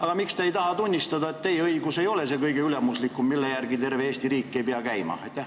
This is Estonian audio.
Aga miks te ei taha tunnistada, et teie õigus ei ole see kõige ülemuslikum ja terve Eesti riik ei pea selle järgi käima?